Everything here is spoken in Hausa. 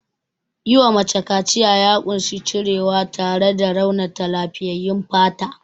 Yiwa mace kaciya ya ƙunshi cirewa tare da raunata lafiyyayyun fata.